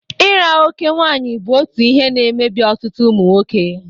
ira oké nwaanyị bụ otu ihe na-emebi ọtụtụ ụmụ nwoke.